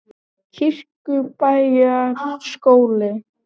Kirkjubæjarskóla